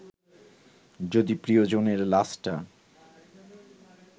যদি প্রিয়জনের লাশটা